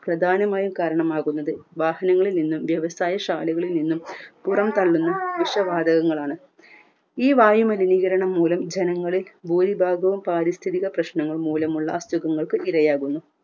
പ്രധാനമായി കാരണമാകുന്നത് വാഹനങ്ങളിൽ നിന്നും വ്യവസായ ശാലകളിൽ നിന്നും പുറം തള്ളുന്ന വിഷവാതകങ്ങളാണ് ഈ വായുമലിനീകരണം മൂലം ജനങ്ങളിൽ ഭൂരിഭാഗവും പാരിസ്ഥിതിക പ്രശ്നങ്ങൾ മൂലമുള്ള അസുഖങ്ങൾക്ക് ഇരയാകുന്നു